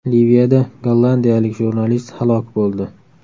Liviyada gollandiyalik jurnalist halok bo‘ldi.